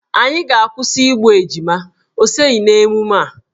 Anyị ga-akwụsị igbu ejima, ọ soghi n'emume a.